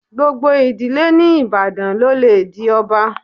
Gbogbo ìdílé ní Ìbàdàn ló le di ọba.